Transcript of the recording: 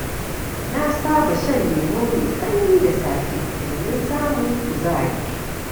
Na saba shan lemu mai sanyi da safe, domin samun kuzari.